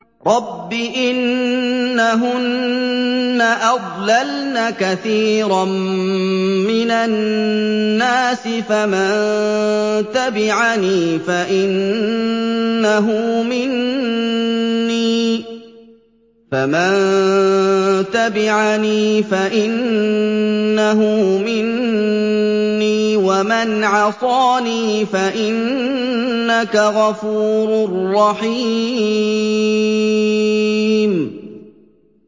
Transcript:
رَبِّ إِنَّهُنَّ أَضْلَلْنَ كَثِيرًا مِّنَ النَّاسِ ۖ فَمَن تَبِعَنِي فَإِنَّهُ مِنِّي ۖ وَمَنْ عَصَانِي فَإِنَّكَ غَفُورٌ رَّحِيمٌ